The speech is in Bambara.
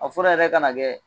A fura yɛrɛ ka na kɛ